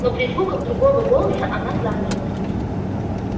но при звуках другого голоса она замерла